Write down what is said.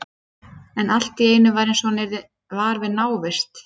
En allt í einu var eins og hann yrði var við návist